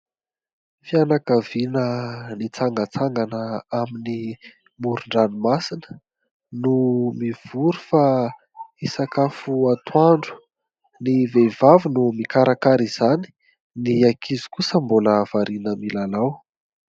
Fianakaviana nitsangatsangana amin'ny moron-dranomasina no mivory fa hisakafo atoandro ; ny vehivavy no mikarakara izany, ny ankizy kosa mbola variana milalao.